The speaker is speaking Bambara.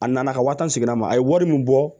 A nana ka waa tan segin a ma a ye wari min bɔ